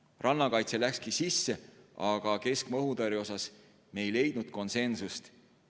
Rannakaitse läkski sisse, aga keskmaa õhutõrje osas me konsensust ei leidnud.